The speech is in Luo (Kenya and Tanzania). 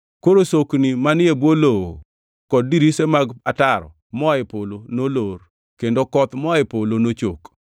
Koro sokni manie bwo lowo kod dirise mag ataro moa e polo nolor, kendo koth moa e polo nochok.